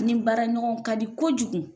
Ni baara ɲɔgɔnw ka di kojugu,